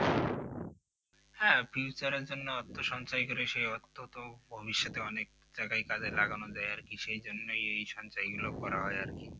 হ্যাঁ future জন্য অর্থ সঞ্চয় করে সে অর্থ তো ভবিষ্যতে অনেক জায়গায় কাজে লাগানো যাই আর কি সেই জন্যই এই সঞ্চয় গুলো করা হয় আর কি